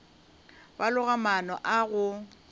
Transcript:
ba loga maano a go